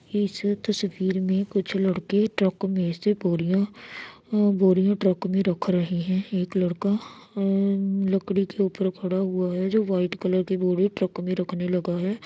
इस तस्वीर में कुछ लड़के ट्रक मे से बोरिया अ बोरिया ट्रक में रख रहे हैं। एक लड़का अ लकड़ी के ऊपर खड़ा हुआ है जो व्हाइट कलर की बोरी ट्रक मे रखने लगा है।